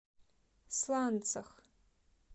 сланцах